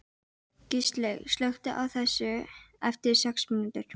Gilslaug, slökktu á þessu eftir sex mínútur.